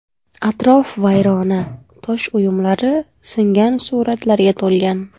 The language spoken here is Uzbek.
Atrof vayrona, tosh uyumlari, singan suratlarga to‘lgan.